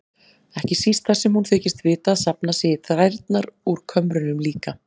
Ekki síst þar sem hún þykist vita að safnað sé í þrærnar úr kömrunum líka.